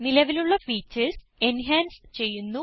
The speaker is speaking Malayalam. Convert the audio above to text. നിലവിലുള്ള ഫീച്ചർസ് എഞ്ചൻസ് ചെയ്യുന്നു